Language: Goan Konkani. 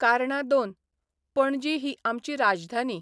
कारणां दोन पणजी ही आमची राजधानी.